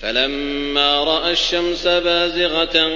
فَلَمَّا رَأَى الشَّمْسَ بَازِغَةً